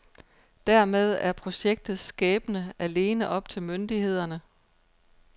Dermed er projektets skæbne alene op myndighederne.